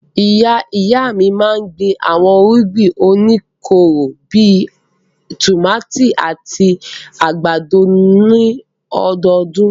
Ìyá-ìyá mi máa ń gbin àwọn irúgbìn oníkóró bí i tòmátì àti àgbàdo ní ọdọọdún.